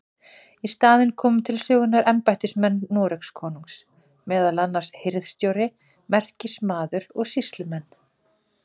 Í staðinn komu til sögunnar embættismenn Noregskonungs, meðal annars hirðstjóri, merkismaður og sýslumenn.